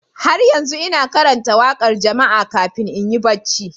Har yanzu ina karanta waƙar jama'a kafin in yi barci.